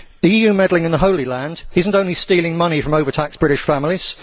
EU meddling in the Holy Land is not only stealing money from overtaxed British families